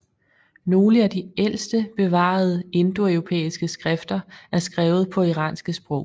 Nogle af de ældste bevarede indoeuropæiske skrifter er skrevet på iranske sprog